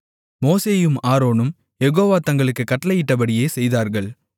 மோசேயும் ஆரோனும் யெகோவா தங்களுக்குக் கட்டளையிட்டபடியே செய்தார்கள்